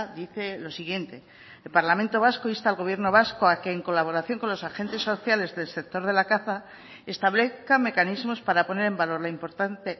dice lo siguiente el parlamento vasco insta al gobierno vasco a que en colaboración con los agentes sociales del sector de la caza establezca mecanismos para poner en valor la importante